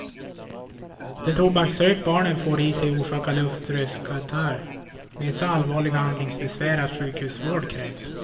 Den tobaksrök barnen får i sig orsakar luftrörskatarr med så allvarliga andningsbesvär att sjukhusvård krävs.